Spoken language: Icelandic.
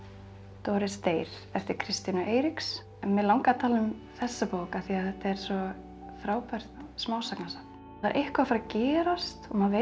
Doris deyr eftir Kristínu Eiríks mig langaði að tala um þessa bók af því þetta er svo frábært smásagnasafn það er eitthvað að fara að gerast og maður veit